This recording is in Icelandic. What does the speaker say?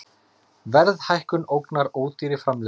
Verðhækkun ógnar ódýrri framleiðslu